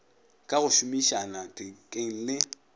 ka go šomišana thekeng le